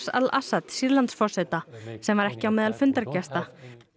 al Assad Sýrlandsforseta sem var ekki á meðal fundargesta